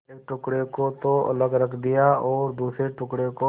एक टुकड़े को तो अलग रख दिया और दूसरे टुकड़े को